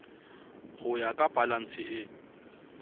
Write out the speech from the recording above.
ho ya ka balanse e